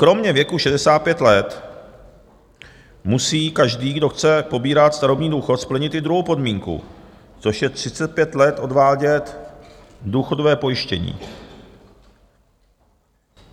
Kromě věku 65 let musí každý, kdo chce pobírat starobní důchod, splnit i druhou podmínku, což je 35 let odvádět důchodové pojištění.